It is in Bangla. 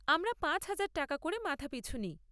আমরা পাঁচ হাজার টাকা করে মাথাপিছু নিই।